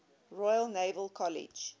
royal naval college